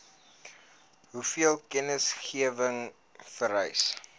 hoeveel kennisgewing vereis